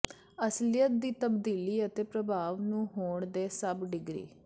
ਅਸਲੀਅਤ ਦੀ ਤਬਦੀਲੀ ਅਤੇ ਪ੍ਰਭਾਵ ਨੂੰ ਹੋਣ ਦੇ ਸਭ ਡਿਗਰੀ